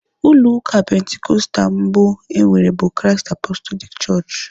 Ụlọ ụka pentekostal mbụ enwere bụ Christ Apostolic chọọchị.